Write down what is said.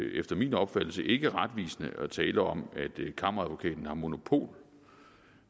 efter min opfattelse ikke retvisende at tale om at det er kammeradvokaten der har monopol